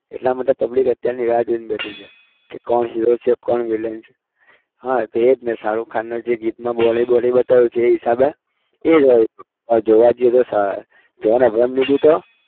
એટલા માટે public અત્યારની રાહ જોઇને બેઠી છે. કે કોણ hero છે? કોણ villain છે? હા તો એ જ ને શારુખ ખાનનો જે ગીતમાં body વૉડી બતાવ્યું છે એ હિસાબે એ જ હોય. હવે જોવા જઈએ તો જ્હોન અબ્રાહમની भी તો